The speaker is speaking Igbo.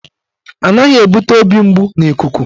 Anaghị ebute obi mgbu n'ikuku